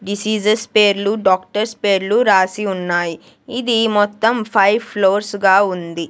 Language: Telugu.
డిసీజెస్ పేర్లు డాక్టర్స్ పేర్లు రాసి ఉన్నాయి ఇది మొత్తం ఫైవ్ ఫ్లోర్స్ గా ఉంది.